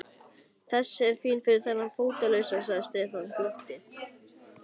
Þessi er fín fyrir þennan fótalausa sagði Stefán og glotti.